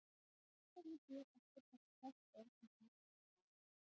Þess vegna ber ekki að taka hvert orð í því bókstaflega.